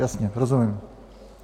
Jasně, rozumím.